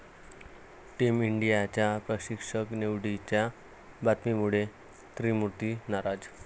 team इंडियाच्या प्रशिक्षक निवडीच्या बातम्यांमुळे 'त्रिमुर्ती' नाराज